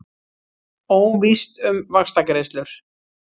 Óvíst um vaxtagreiðslur